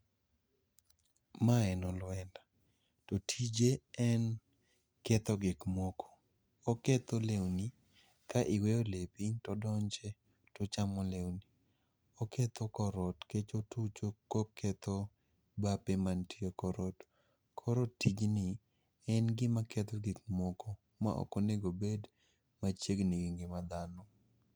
Ma en olwenda, to tije en ketho gikmoko. Oketho lewni, ka iweyo lepi todonje tochamo lewni. Oketho korot kech otucho koketho bape mantie e korot. Koro tijni en gima ketho gikmoko ma okonegobed machiegni gi ngima dhano.